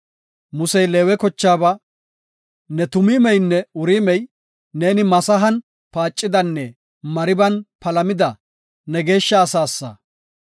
Musey Leewe kochaaba, ne Tumiimeynne Uriimey, neeni Masahan paacidanne Mariban palamida, ne geeshsha asaasa.